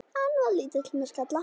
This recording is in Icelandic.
Hann var lítill með skalla.